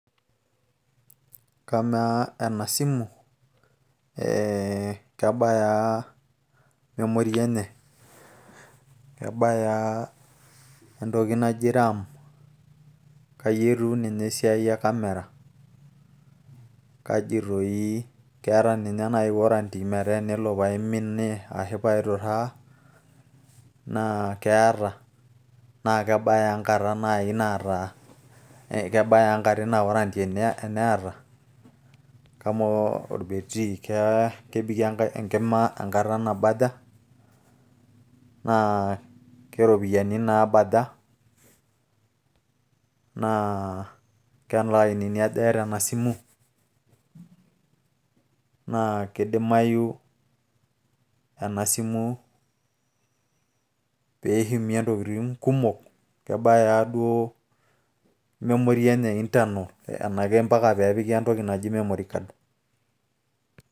Kamaa enasimu eh kebayaa memory enye? Kebayaa entoki naji ram? Kayietiu ninye esiai e kamera? Kaji toii keeta ninye nai warranty metaa enelo paiminie ashu paiturraa naa keeta na kebaya ah enkata nai naata kebayaa enkata ina warranty? Kamaa orbetiri kebikie enkima enkata nabaja? Naa kelainini aja eeta enasimu? Na kidimayu enasimu pishimie intokiting' kumok? Kebaya ah duo memory enye internal enake mpaka pepiki entoki naji memory card?